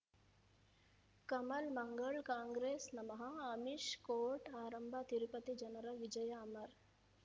ಕಮಲ್ ಮಂಗಳ್ ಕಾಂಗ್ರೆಸ್ ನಮಃ ಅಮಿಷ್ ಕೋರ್ಟ್ ಆರಂಭ ತಿರುಪತಿ ಜನರ ವಿಜಯ ಅಮರ್